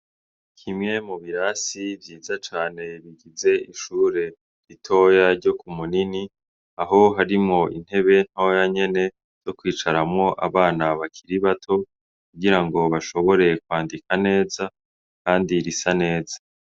Kimwe mu birasi vyiza cane bigize ishure ritoya ryo Kumunini aho harimwo intebe ntoya nyene zo kwicaramwo abana bakiri bato kugira ngo bashobore kwandika neza kandi risa neza.